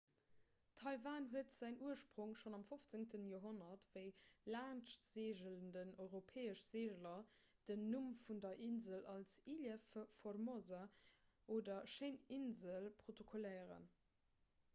taiwan huet säin ursprong schonn am 15 joerhonnert wéi laanschtseegelend europäesch seegler den numm vun der insel als ilha formosa oder schéin insel protokolléieren